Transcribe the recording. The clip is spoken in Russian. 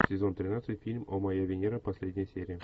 сезон тринадцать фильм о моя венера последняя серия